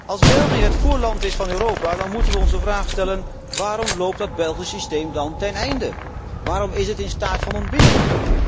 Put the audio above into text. Als België het voorland is van Europa, dan moeten we ons de vraag stellen waarom loopt dat Belgisch systeem dan ten einde? Waarom is het in staat van ontbinding?